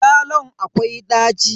Yalon akwai daci.